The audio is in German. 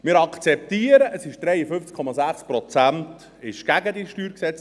Wir akzeptieren, dass 53,6 Prozent gegen diese StG-Reform waren.